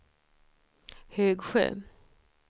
Högsjö